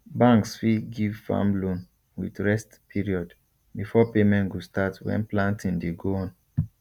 banks fit give farm loan with rest period before payment go start when planting dey go on